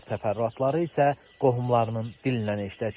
Bəzi təfərrüatları isə qohumlarının dilindən eşidək.